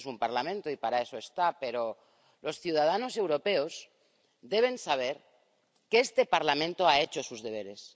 Este es un Parlamento y para eso está, pero los ciudadanos europeos deben saber que este Parlamento ha hecho sus deberes